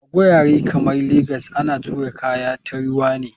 A gurare kamar legas ana tura kaya ta ruwa ne.